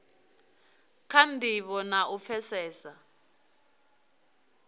kha ndivho na u pfesesa